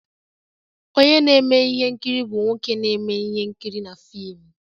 Onye na-eme ihe nkiri bụ nwoke na-eme ihe nkiri na fim